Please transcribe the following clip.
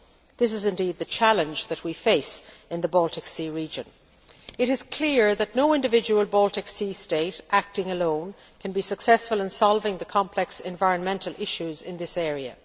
This is indeed the challenge that we face in the Baltic Sea region. It is clear that no individual Baltic Sea state acting alone can be successful in solving the complex environmental issues in this area.